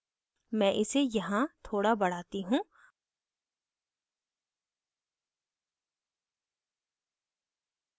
मैं इसे यहाँ थोड़ा बढ़ाती हूँ